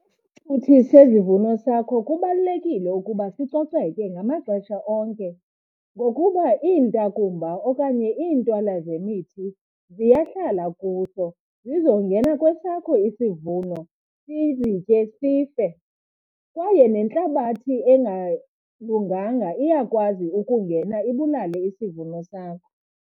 Isithuthi sezivuno sakho kubalulekile ukuba sicoceke ngamaxesha onke ngokuba iintakumba okanye iintwala zemithi ziyahlala kuso zizongena kwesakho isivuno sizitye sife. Kwaye nentlabathi engalunganga iyakwazi ukungena ibulale isivuno sakho.